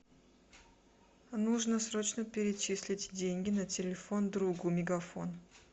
нужно срочно перечислить деньги на телефон другу мегафон